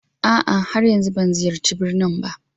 A'a, har yanzu ban ziyarci birnin ba